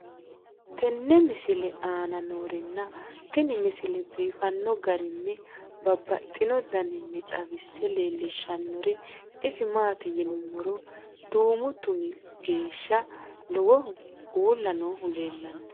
tenne misile aana noorina tini misile biiffanno garinni babaxxinno daniinni xawisse leelishanori isi maati yinummoro duummu tummi geesha lowohu uulla noohu leelanno